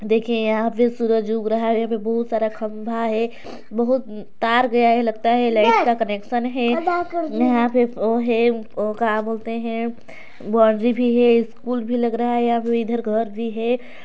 देखिए यहाँ पे सूरज उग रहा है यहाँ पे बहुत सारा खंभा है बहुत अम तार गया है लगता है लाइट का कनेक्शन है यहाँ पे वो है वो का बोलते है बाउंड्री भी है स्कूल भी लग रहा है यहाँ पे इधर घर भी है।